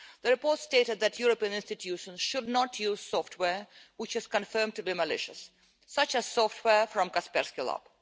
The report stated that European institutions should not use software which is confirmed to be malicious, such as software from Kaspersky Lab.